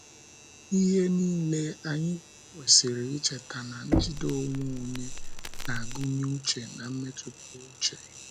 N'ihe niile, anyị kwesịrị icheta na njide onwe onye na - agụnye uche na mmetụta uche.